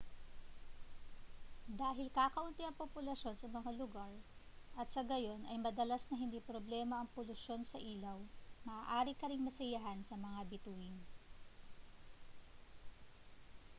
dahil kakaunti ang populasyon sa mga lugar at sa gayon ay madalas na hindi problema ang polusyon sa ilaw maaari ka ring masiyahan sa mga bituin